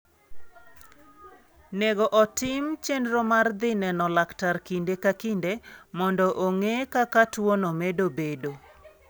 nego otim chenro mar dhi neno laktar kinde ka kinde, mondo ong'e kaka tuwono medo bedo.